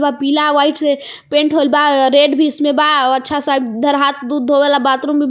पीला व्हाइट से पेंट होइल बा रेड भी इसमें बा अच्छा सा इधर हाथ धोए वाला बाथरूम भी बा.